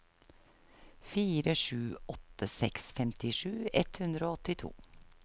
fire sju åtte seks femtisju ett hundre og åttito